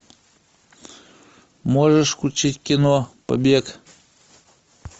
можешь включить кино побег